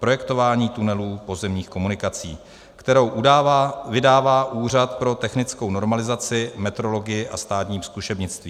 Projektování tunelů pozemních komunikací, kterou vydává Úřad pro technickou normalizaci, metrologii a státní zkušebnictví.